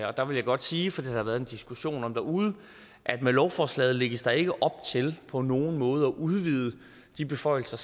og der vil jeg godt sige for det har der været diskussion om derude at med lovforslaget lægges der ikke op til på nogen måde at udvide de beføjelser